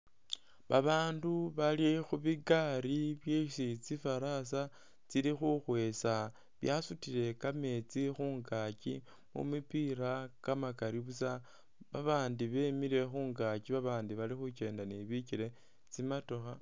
Babaandu bali khu bigari byesi tsifarasa tsili khukhwesa byasutile kameetsi khungaaki khu mipila kamakali busa, babandi bemile khungaaki babandi bali khukenda ni bikele, tsimotokha,